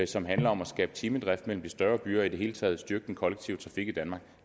som handler om at skabe timedrift mellem de større byer og i det hele taget styrke den kollektive trafik i danmark